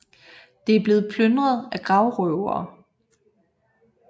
Det er blevet plyndret af gravrøvere